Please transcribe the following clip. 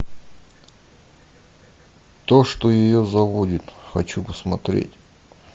то что ее заводит хочу посмотреть